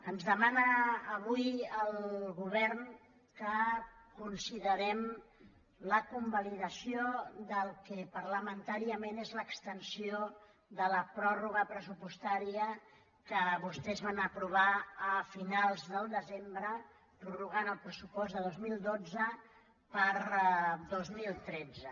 ens demana avui el govern que considerem la convalidació del que parlamentàriament és l’extensió de la pròrroga pressupostària que vostès van aprovar a finals del desembre per prorrogar el pressupost del dos mil dotze per al dos mil tretze